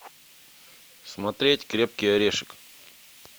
смотреть крепкий орешек